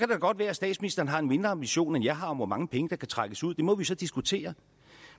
det godt være at statsministeren har en mindre ambition end jeg har om hvor mange penge der kan trækkes ud det må vi jo så diskutere